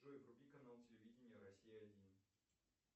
джой вруби канал телевидения россия один